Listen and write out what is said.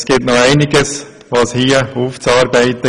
Es gibt noch einiges aufzuarbeiten.